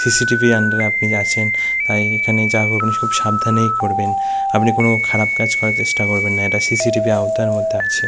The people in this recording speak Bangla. সি.সি.টি.ভি আন্ডারে আপনি আছেন তাই এখানে যা করবেন খুব সাবধানেই করবেন আপনি কোন খারাপ কাজ করার চেষ্টা করবেন না এটা সি.সি.টি.ভি আওতার মধ্যে আছে।